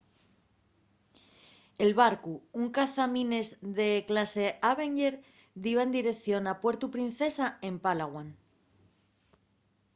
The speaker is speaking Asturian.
el barcu un cazamines de clase avenger diba en direición a puerto princesa en palawan